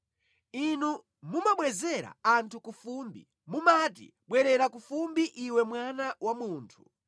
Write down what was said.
Inu mumabwezera anthu ku fumbi, mumati, “Bwerera ku fumbi iwe mwana wa munthu.”